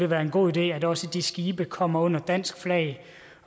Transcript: være en god idé at også de skibe kommer under dansk flag